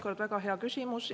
Taas väga hea küsimus!